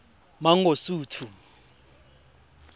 mangosuthu